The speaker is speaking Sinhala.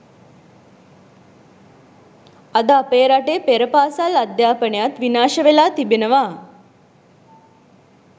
අද අපේ රටේ පෙරපාසල් අධ්‍යාපනයත් විනාශවෙලා තිබෙනවා